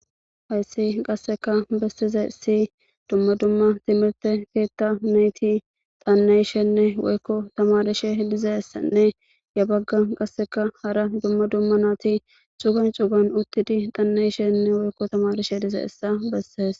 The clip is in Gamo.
hayssi qasseka bessize si dumma dumma timirte keetta neyti daanneyshenne woykko tamardishe dizee ssanne ya bagga qasseka hara dumma dumma naati cugan cugan uttidi dhanneyshenne woykko tamarishe dize essa besses